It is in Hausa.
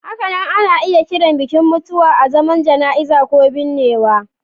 Hakanan ana iya kiran bikin mutuwa azaman Jana'iza ko binnewa.